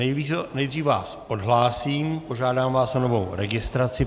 Nejdřív vás odhlásím, požádám vás o novou registraci.